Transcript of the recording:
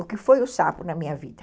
o que foi o sapo na minha vida.